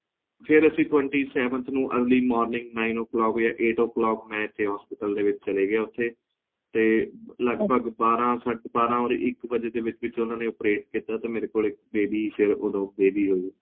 ਫੇਰ ਅਸੀਂ twenty seventh ਨੂੰ early morning nine o clock ਜਾ eight o clock ਮੈਂ ਇੱਥੇ hospital ਦੇ ਵਿੱਚ ਚੱਲਾ ਗਿਆ ਉੱਥੇ ਤੇ ਲਗਭਗ ਬਾਰਹ ਜਾ ਇੱਕ ਵੱਜੇ ਦੇ ਵਿੱਚ ਵਿੱਚ ਉਹਨਾਂ ਨੇ operate ਕੀਤਾ ਤੇ ਮੇਰੇ ਕੋਲ ਇੱਕ baby ਸ਼ਾਇਦ ਇੱਕ baby ਉਹ